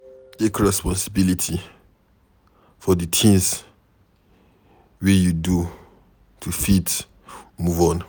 Take responsibility for di things wey you do to fit move on